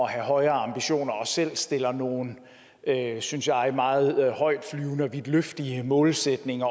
have højere ambitioner og selv stiller nogle synes jeg meget højtflyvende og vidtløftige målsætninger